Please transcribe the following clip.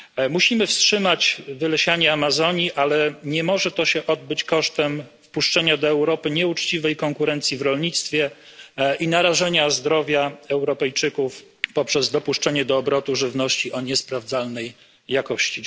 Musimy wstrzymać wylesianie Amazonii, ale nie może to się odbyć kosztem wpuszczenia do Europy nieuczciwej konkurencji w rolnictwie i narażenia zdrowia Europejczyków poprzez dopuszczenie do obrotu żywności o niesprawdzalnej jakości.